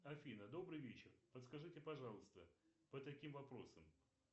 афина добрый вечер подскажите пожалуйста по таким вопросам